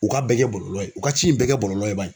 U k'a bɛɛ kɛ bɔlɔlɔ ye u ka ci in bɛɛ kɛ bɔlɔlɔ ye bani